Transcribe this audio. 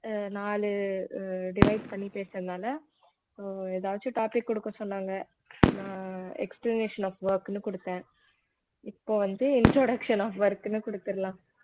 அஹ் நாலு அஹ் divide பண்ணி பேசுறதுனால அஹ் எதாச்சும் topic குடுக்க சொன்னாங்க நான் explanation of work ன்னு குடுத்தேன் இப்ப வந்து introduction of work ன்னு கொடுத்திடலாம்